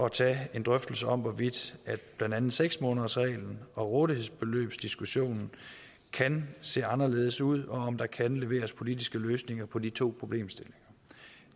at tage en drøftelse om hvorvidt blandt andet seks månedersreglen og rådighedsbeløbsdiskussionen kan se anderledes ud og om der kan leveres politiske løsninger på de to problemstillinger